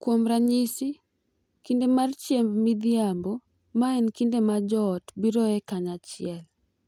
Kuom ranyisi, kinde mar chiemb midhiambo, ma en kinde ma joot biroe kanyachiel .